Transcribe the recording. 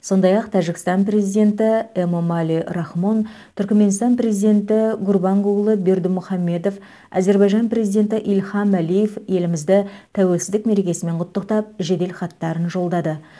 сондай ақ тәжікстан президенті эмомали рахмон түркіменстан президенті гурбангулы бердімұхамедов әзербайжан президенті ильхам әлиев елімізді тәуелсіздік мерекесімен құттықтап жеделхаттарын жолдады